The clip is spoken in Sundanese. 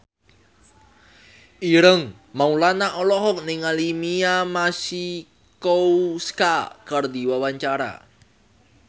Ireng Maulana olohok ningali Mia Masikowska keur diwawancara